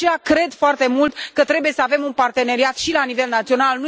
De aceea, cred foarte mult că trebuie să avem un parteneriat și la nivel național.